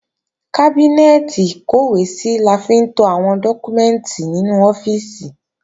Kábínẹ́ẹ̀tì ìkọ́wèésí la fi ń to àwọn dọ́kúmẹ́ǹtì nínú ọ́fíìsì